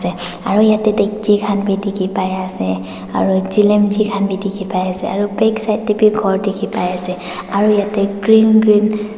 aro yete tiki bai ase aro chilemji kan bi tiki bai ase aro backside dae bi kor tiki bai ase aro yete green green .